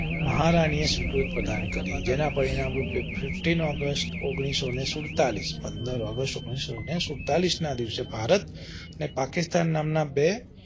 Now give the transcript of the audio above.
મહારાનીય સ્વીકૃત પ્રદાન કરી જેના પરિણામ રૂપે fifteen august ઓન્ગ્લીસો સુડતાલીસ પંદર ઔગસ્ત ઓન્ગ્લીસો ને સુડતાલીસ ના દિવસે ભારત અને પાકિસ્તાન નામ ના બે